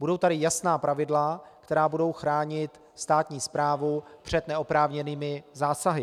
Budou tady jasná pravidla, která budou chránit státní správu před neoprávněnými zásahy.